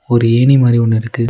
ஒரு ஏணி மாரி ஒன்னு இருக்கு.